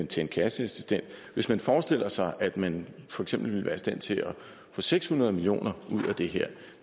til en kasseassistent hvis man forestiller sig at man for eksempel ville være i stand til at få seks hundrede million af det her